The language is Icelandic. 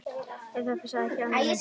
Það passar ekki, Addi minn.